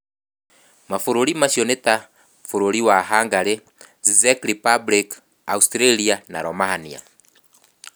Mabũrũri macio nĩ ta bũrũri wa Hungary, Czech Republic, Austria, na Romania.